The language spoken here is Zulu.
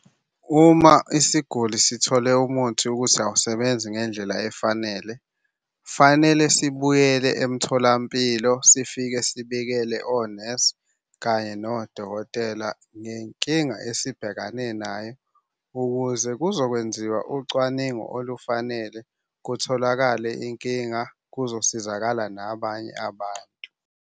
Uma isiguli sithole umuthi ukuthi awusebenzi ngendlela efanele, fanele sibuyele emtholampilo. Sifike sibikele onesi kanye nodokotela ngenkinga esibhekane nayo ukuze kuzokwenziwa ucwaningo olufanele kutholakale inkinga, kuzosizakala nabanye abantu.